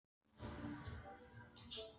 Hinn íslenski maí lúkkar eins og amerískur mars.